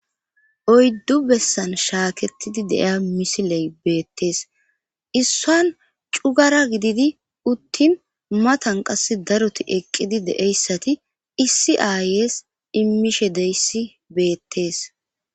oyddu bessan shaakettidi deiya misiley beettees issan cugara gididi uttin matan qass daroti eqqidi deeyssati issi aayes immishe deyssi beettees